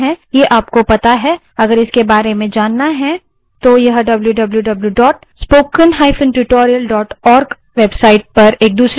अगर इसके बारे में जानना है तो